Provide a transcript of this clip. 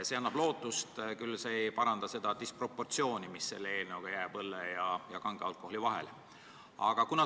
See annab lootust, kuigi see ei paranda seda disproportsiooni, mis selle eelnõu kohaselt õlle ja kange alkoholi aktsiisi vahele jääb.